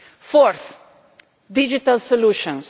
Fourth digital solutions.